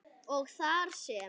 og þar sem